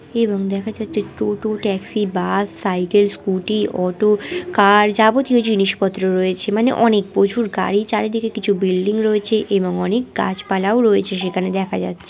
এবং দেখা যাচ্ছে টোটো taxi bus cycle scooty auto car যাবতীয় জিনিসপত্র রয়েছে মানে অনেক প্রচুর গাড়ি চারিদিকে কিছু বিল্ডিং রয়েছে এবং অনেক গাছপালাও রয়েছে সেখানে দেখা যাচ্ছে।